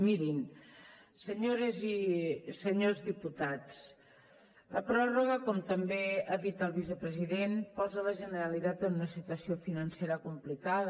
mirin senyores i senyors diputats la pròrroga com també ha dit el vicepresident posa la generalitat en una situació financera complicada